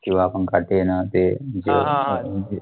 किंवा आपण काटे ना ते